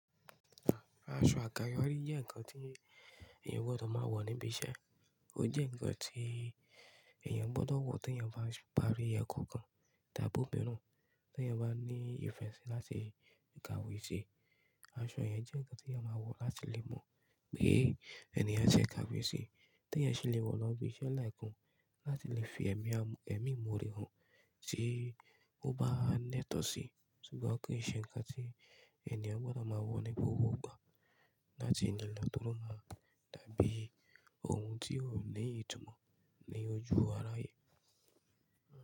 Aṣọ àkàyọ́rí jẹ́ ǹkan tí èèyàn o gbọ́dọ̀ máa wọ̀ níbi iṣẹ́. Ó jẹ́ ǹkan tí èèyàn gbọ́dọ̀ wọ̀ tí èèyàn bá ń parí ẹ̀kọ́ kan, dàbí òmiran, tí èèyàn bá ní ìfẹ́ sí láti ka ìwé sí. Aṣọ yẹn jẹ́ ǹkan tí èèyàn máa wọ̀ láti lè mọ̀ pé èèyàn jẹ́ kàwé sí. Tí èèyàn ṣe lè wọ̀ ọ́n bí iṣẹ́ láì kún láti lè fi ẹ̀mí àmú-- ẹ̀mí ìmọ̀ rẹ̀ hàn tí ó bá ńnẹ́tọ̀ sí. Ṣùgbọ́n kò ṣe ǹkan tí èèyàn gbọ́dọ̀ máa wọ̀ ní gbogbo ìgbà láti ní lọ́ tọ́ ma dàbí ohun tí ò ní ìtumọ̀ ní ojú aráyé.